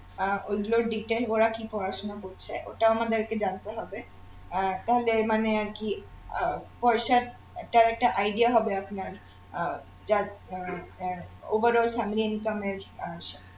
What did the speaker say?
আহ ওইগুলোর detail ওরা কি পড়াশুনা করছে ওটা আমাদেরকে জানতে হবে আর মানে আরকি আহ একটা একটা idea হবে আপনার আহ যার আহ আহ overall থাকবে income এর আহ সাথে